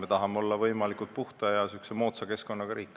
Me tahame olla võimalikult puhta ja moodsa keskkonnaga riik.